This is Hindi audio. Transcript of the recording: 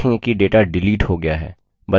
आप देखेंगे कि data डिलीट हो गया है